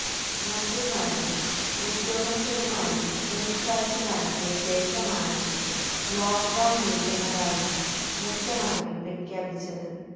മന്ത്രിമാരും ഉദ്യോഗസ്ഥരുമായി കൂടിക്കാഴ്ച നടത്തിയ ശേഷമാണ് ലോക്ക്ഡൌൺ നീട്ടുന്നതായി മുഖ്യമന്ത്രി പ്രഖ്യാപിച്ചത്